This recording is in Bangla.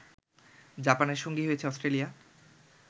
জাপানের সঙ্গী হয়েছে অস্ট্রেলিয়া